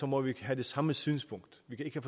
må vi have det samme synspunkt vi kan